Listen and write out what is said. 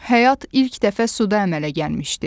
Həyat ilk dəfə suda əmələ gəlmişdi.